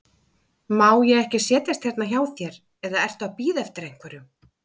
Má ég ekki setjast hérna hjá þér, eða ertu að bíða eftir einhverjum?